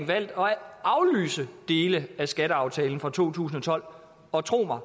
valgt at aflyse dele af skatteaftalen for to tusind og tolv og tro mig